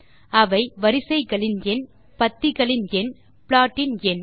அவை வரிசைகளின் எண் பத்திகளின் எண் ப்ளாட் இன் எண்